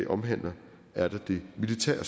omhandler er der det militære